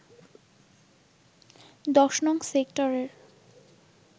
১০নং সেক্টরের